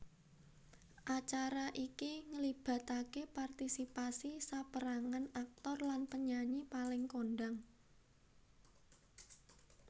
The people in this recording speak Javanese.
Acara iki nglibatake partisipasi saperangan aktor lan penyanyi paling kondhang